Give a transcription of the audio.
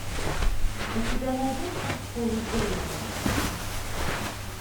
у тебя найдется в поле зрения